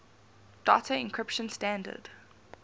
data encryption standard